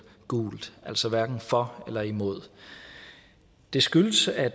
gult altså hverken for eller imod det skyldes at